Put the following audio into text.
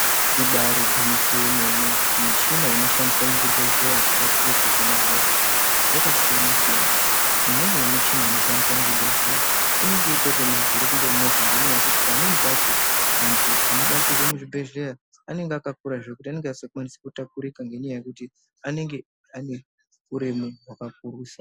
Ibari gwinyiso yemene michina inoshandiswa muzvibhedhleya kubatsira kuhina hosha yakasiyana-siyana. Imweni yemichina inoshandiswa muzvibhedhleya inonga itorine mavhiri kunge movha ngekuti pamweni pacho antu anobatsirwe muzvibhedhleya anonga akakura zvekuti anonga asingakwanisi kutakurika ngenyaya yekuti anenge ane huremu hwakakurisa.